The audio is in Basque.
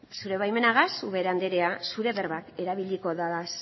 zure baimenagaz ubera andrea zure berbak erabiliko ditut